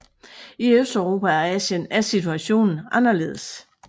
I Østeuropa og Asien er situationen anderledes